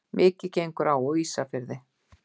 Mikið gengur á á Ísafirði.